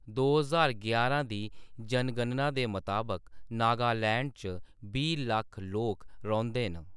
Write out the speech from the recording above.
दो ज्हार यारां दी जनगणना दे मताबक नागालैंड च बीह् लक्ख लोक रौंह्‌‌‌दे न।